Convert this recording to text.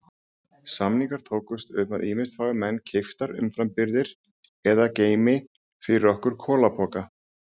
Samningar tókust um að ýmist fái menn keyptar umframbirgðir eða geymi fyrir okkur kolapoka.